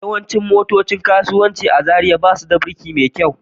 Yawancin motocin kasuwanci a Zariya ba su da birki mai kyau